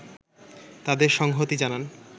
তাদের সংহতি জানান